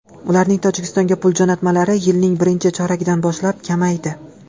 Ularning Tojikistonga pul jo‘natmalari yilning birinchi choragidan boshlab kamaydi.